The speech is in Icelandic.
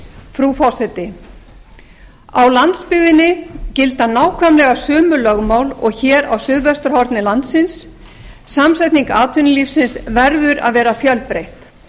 frú forseti á landsbyggðinni gilda nákvæmlega sömu lögmál og hér á suðvesturhorni landsins samsetning atvinnulífsins verður að vera fjölbreytt